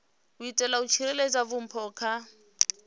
itela u tsireledza vhupo nga